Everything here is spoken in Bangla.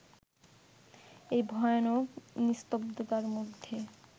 এই ভয়ানক নিস্তব্ধতার মধ্যে